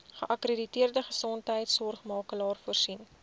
geakkrediteerde gesondheidsorgmakelaar voorsien